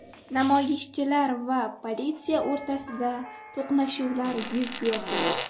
Namoyishchilar va politsiya o‘rtasida to‘qnashuvlar yuz berdi.